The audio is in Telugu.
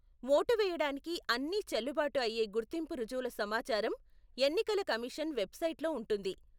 ఓటు వేయడానికి అన్నీ చెల్లుబాటు అయ్యే గుర్తింపు రుజువుల సమాచారం ఎన్నికల కమిషన్ వెబ్సైట్లో ఉంటుంది.